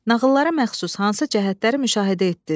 Nağıllara məxsus hansı cəhətləri müşahidə etdiniz?